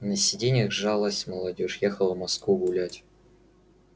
на сиденьях жалась молодёжь ехала в москву гулять